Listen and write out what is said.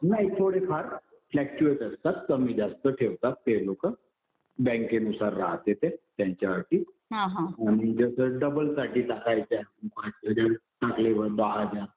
नाही थोडेफार फ्लक्चुएट असतात. कमी जास्त ठेवतात ते लोकं. बँकेनुसार राहते ते. त्यांच्या अटी. आणि जसं डबलसाठी टाकायचे आहेत. जसं टाकले आता दहा हजार,